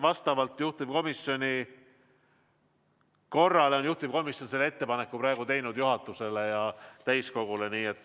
Vastavalt korrale on juhtivkomisjon selle ettepaneku praegu juhatusele ja täiskogule teinud.